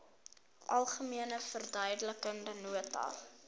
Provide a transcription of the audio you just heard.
algemene verduidelikende nota